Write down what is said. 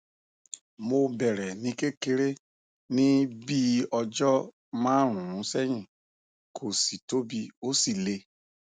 mo bẹrẹ ní kékeré ní bíi ọjọ márùnún sẹyìn kò sì tóbi ó sì le